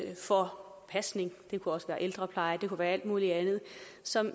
for pasning det kunne også være ældrepleje det kunne være alt muligt andet som